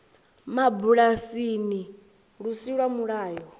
mabulasini lu si lwa mulayo